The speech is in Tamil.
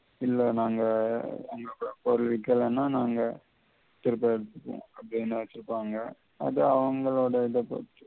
இல்ல நாங்க பொருள் விக்கலேனா நாங்க திருப்ப எடுத்துக்குவோம் அப்படின்னு சொல்வாங்க அத அவங்களோட இத பொறுத்து